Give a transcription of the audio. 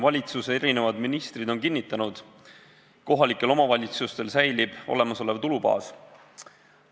Valitsuse erinevad ministrid on kinnitanud, et kohalikel omavalitsustel säilib olemasolev tulubaas.